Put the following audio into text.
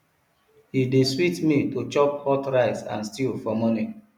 e dey sweet me to chop hot rice and stew for morning